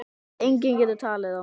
Enginn getur talið þá.